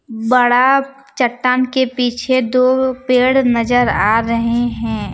बड़ा चट्टान के पीछे दो पेड़ नजर आ रहे हैं।